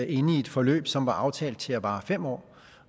inde i et forløb som var aftalt til at vare fem år